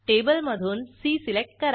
टेबलमधून C select करा